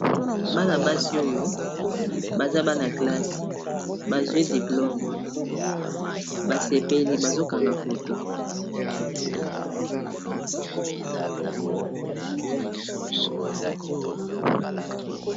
bana basi oyo baza bana-clase bazwi diplome basepeli bazokanga foto